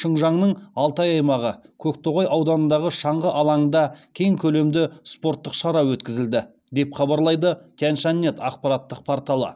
шынжаңның алтай аймағы көктоғай ауданындағы шаңғы алаңында кең көлемді спорттық шара өткізілді деп хабарлайды тяньшаньнет ақпараттық порталы